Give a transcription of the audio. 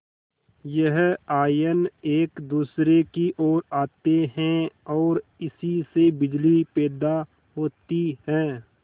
यह आयन एक दूसरे की ओर आते हैं ओर इसी से बिजली पैदा होती है